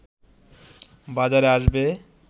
বাজারে আসবে